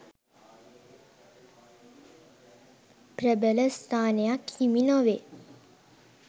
ප්‍රබල ස්ථානයක් හිමි නොවේ.